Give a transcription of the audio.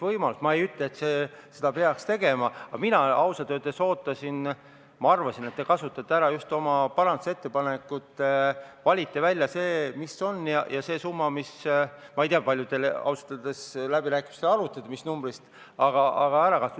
Ma ei ütle, et seda peaks tegema, aga mina ausalt öeldes arvasin, et te valite välja selle, mis on oluline , et see raha ära kasutada.